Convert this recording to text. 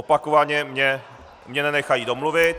Opakovaně mě nenechají domluvit.